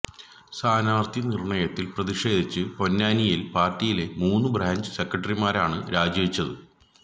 സ്ഥാനാർത്ഥി നിർണയത്തിൽ പ്രതിഷേധിച്ച് പൊന്നായിൽ പാർട്ടിയിലെ മൂന്ന് ബ്രാഞ്ച് സെക്രട്ടറിമാരാണ് രാജിവെച്ചത്